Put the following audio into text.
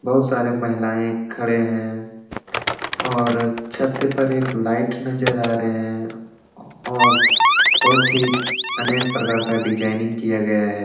बहुत सारे महिलाए खड़े हैं और छत पर एक लाइट नजर आ रहे हैं और बहुत ही अनेक प्रकार का डिज़ाइनिंग किया गया है।